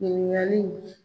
Ɲinigaliw